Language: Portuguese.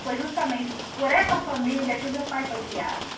Foi justamente por essa família que o meu pai foi criado.